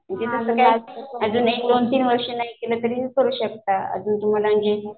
तिजं पण काय अजून एक दोन तीन वर्ष नाही केलं तरी करू शकता